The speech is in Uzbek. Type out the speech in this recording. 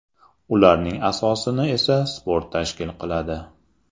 Ularning asosini esa sport tashkil qiladi.